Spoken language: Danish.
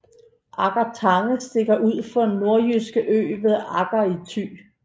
Agger Tange stikker ud fra Nørrejyske Ø ved Agger i Thy